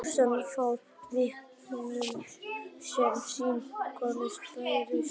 Póstkort frá Viktoríutímanum sem sýnir konu berja storkinn frá sér.